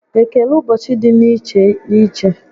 Ekele ụbọchị dị n'iche n'iche